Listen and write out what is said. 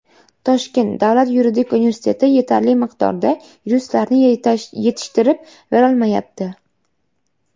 Toshkent davlat yuridik universiteti yetarli miqdorda yuristlarni yetishtirib berolmayapti.